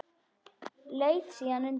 Leit síðan undan.